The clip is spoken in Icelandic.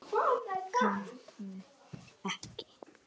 Hér var ekkert.